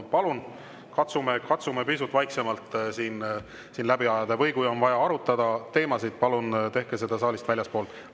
Palun katsume pisut vaiksemalt siin läbi ajada või kui on vaja teemasid arutada, tehke seda palun saalist väljaspool.